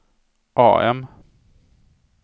AM